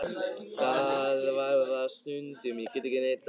Það var það stundum, ég get ekki neitað því.